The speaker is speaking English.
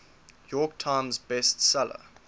york times bestseller